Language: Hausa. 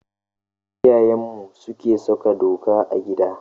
Iyayenmu suke saka doka a gida.